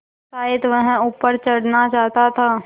शायद वह ऊपर चढ़ना चाहता था